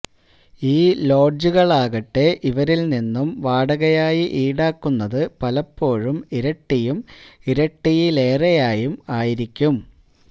ഈ ലോഡ്ജുകളാകട്ടെ ഇവരില് നിന്നും വാടകയായി ഈടാക്കുന്നത് പലപ്പോഴും ഇരട്ടിയും ഇരട്ടിയിലേറെയും ആയിരിക്കും